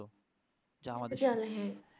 যা আমাদের